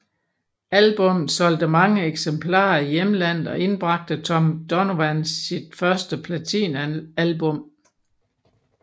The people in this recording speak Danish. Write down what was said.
Albummet solgte mange eksemplarer i hjemlandet og indbragte Tom Donovan sit første platinalbum